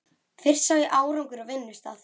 Fyrst sá ég árangur á vinnustað.